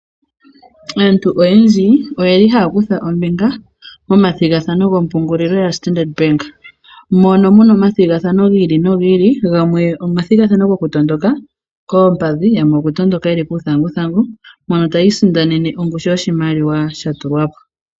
Aantu oyendji oye li haya kutha ombinga momathigathano gompungulilo ya Standard Bank mono mu na omathigathano gi ili nogi ili, gamwe omathigathano gokutondoka koompadhi, gamwe okutondoka ye li kuuthanguthangu mpono tayi isindanene ongushu yoshimaliwa sha tulwa po.